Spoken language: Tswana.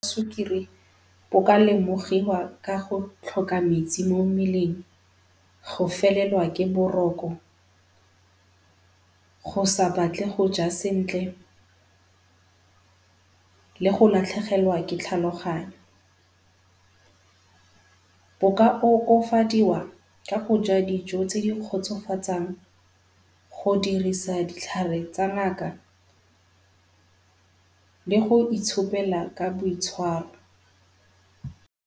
Sukiri bo ka lemogiwa ka go tlhoka metsi mo mmeleng, go felelwa ke boroko, go sa batle go ja sentle, le go latlhegelwa ke tlhaloganyo. Bo ka okofadiwa ka go ja dijo tse di kgotsofatsang, go dirisa ditlhare tsa ngaka le go itshopela ka boitshwaro.